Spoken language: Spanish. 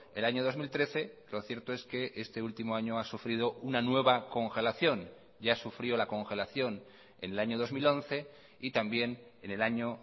el año dos mil trece lo cierto es que este último año ha sufrido una nueva congelación ya sufrió la congelación en el año dos mil once y también en el año